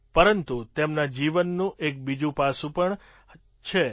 પરંતુ તેમના જીવનનું એક બીજું પાસું પણ છે